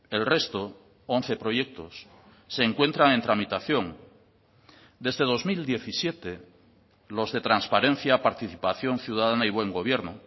el resto once proyectos se encuentran en tramitación desde dos mil diecisiete los de transparencia participación ciudadana y buen gobierno